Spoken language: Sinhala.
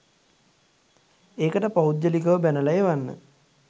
ඒකට පෞද්ගලිකව බැනලා එවන්න.